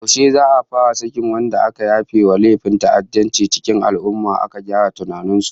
Yaushe za'a fara sakin wadanda aka yafe wa laifin ta'addanci cikin al'ummah, aka gyara tunanin su?